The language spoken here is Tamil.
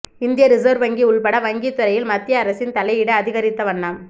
இந்திய ரிசர்வ் வங்கி உள்பட வங்கித் துறையில் மத்திய அரசின் தலையீடு அதிகரித்தவண்ணம்